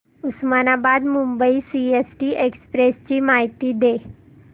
Osmanabad Mumbai CST express ची माहिती दे